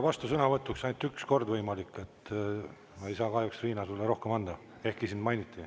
Tänan, austatud juhataja!